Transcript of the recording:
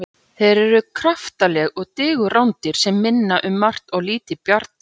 Þeir eru kraftaleg og digur rándýr sem minna um margt á lítil bjarndýr.